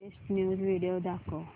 latest news video दाखव